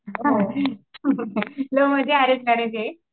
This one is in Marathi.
लव्हमध्ये अरेंज मॅरेज ये.